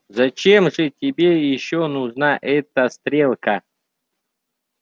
зачем же тебе ещё нужна эта стрелка